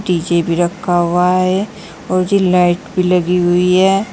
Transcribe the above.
DJ भी रखा हुआ है और ये लाइट भी लगी हुई है।